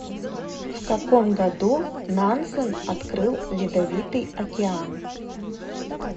в каком году нансен открыл ледовитый океан